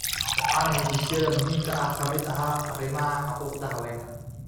Waxaana heshiisyada muhiimka ah ka mid ahaa arrimaha xuquuqda haweenka.